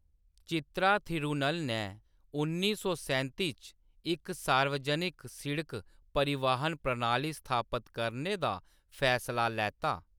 चित्रा थिरुन्नल ने उन्नी सौ सैंती च इक सार्वजनिक सिड़क परिवहन प्रणाली स्थापत करने दा फैसला लैता।